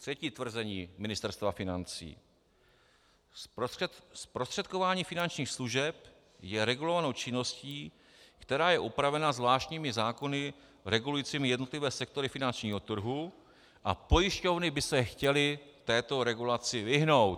Třetí tvrzení Ministerstva financí: Zprostředkování finančních služeb je regulovanou činností, která je upravena zvláštními zákony regulujícími jednotlivé sektory finančního trhu, a pojišťovny by se chtěly této regulaci vyhnout.